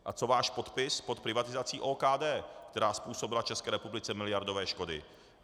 A co váš podpis pod privatizací OKD, která způsobila České republice miliardové škody?